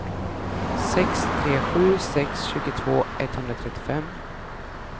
sex tre sju sex tjugotvå etthundratrettiofem